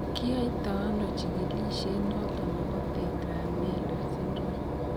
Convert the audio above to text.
kiyaito ano chekilisiet noton nebo tetra amelia syndrome